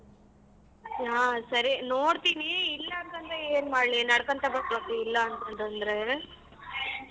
ಹ ಸರಿ ನೋಡ್ತೀನಿ ಇಲ್ಲ ಅಂತ್ ಅಂದ್ರೆ ಏನ್ ಮಾಡ್ಲಿ ನಡ್ಕಣ್ತಾ ಬರ್ಬೇಕು ಇಲ್ಲ ಅಂತ್~ ಅಂತ ಅಂದ್ರೆ.